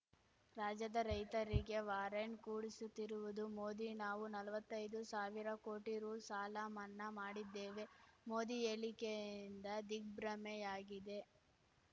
ರಾಜ್ಯದ ರೈತರಿಗೆ ವಾರಂಟ್‌ ಕೂಡಿಸುತ್ತಿರುವುದು ಮೋದಿ ನಾವು ನಲ್ವತ್ತೈದು ಸಾವಿರ ಕೋಟಿ ರು ಸಾಲ ಮನ್ನಾ ಮಾಡಿದ್ದೇವೆ ಮೋದಿ ಹೇಳಿಕೆಯಿಂದ ದಿಗ್ಭ್ರಮೆಯಾಗಿದೆ